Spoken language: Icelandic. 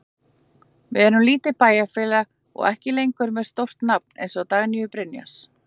Við erum lítið bæjarfélag og ekki lengur með stórt nafn eins og Dagnýju Brynjars.